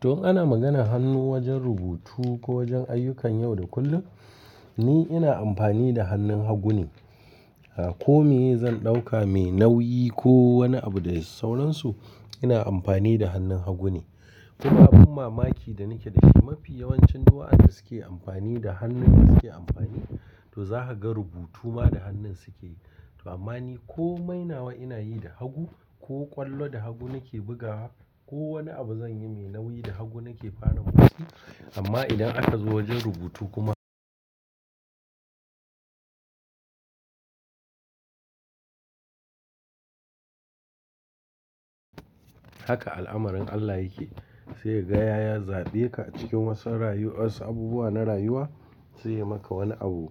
To in hana maganar hannu wajen rubutu ko wajen ayyukan yau da kullum, ni ina amfani da hannun hagu ne. A ko me zan ɗauka mai nauyi ko wani abu da sauransu, ina amfani da hannun hagu ne. Kuma abin mamaki da nake dashi mafi yawancin do'a'an da suke amfani da hannun da suke amfani, to za ka ga rubutu ma da hannun suke yi. To amma ni ko mainawa ina yi da hagu, ko ƙwallo da hagu nake bugawa, ko wani abu zan yi mai nauyi da hagu nake fara motsi. Amma idan aka zo wajen rubutu kuma. Haka al'amarin Allah yake, sai gaya ya zaɓe ka cikin wasu rayuwas, abubuwa na rayuwa, sai ya maka wani abu